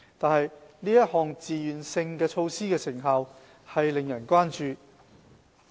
但是，這項自願性措施的成效令人關注。